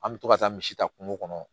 An bɛ to ka taa misi ta kungo kɔnɔ